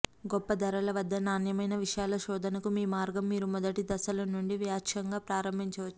గొప్ప ధరల వద్ద నాణ్యమైన విషయాల శోధనకు మీ మార్గం మీరు మొదటి దశల నుండి వాచ్యంగా ప్రారంభించవచ్చు